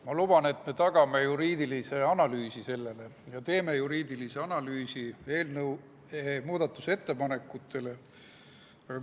Ma luban, et me tagame selle juriidilise analüüsi ja teeme eelnõu muudatusettepanekute juriidilise analüüsi.